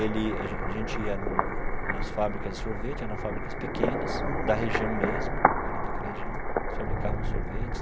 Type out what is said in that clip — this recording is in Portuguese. Ele a gen a gente ia no nas fábricas de sorvete, eram fábricas pequenas, da região mesmo, ali daquela região, eles fabricavam os sorvetes.